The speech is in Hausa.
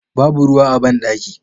Babu ruwa a bandaki.